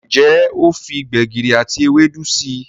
Njé o fí gbegiri àti Ewédú sí?